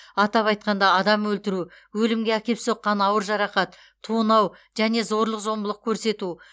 атап айтқанда адам өлтіру өлімге әкеп соққан ауыр жарақат тонау және зорлық зомбылық көрсету